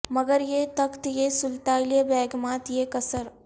مگر یہ تخت یہ سلطاں یہ بیگمات یہ قصر